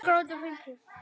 Elín Helga.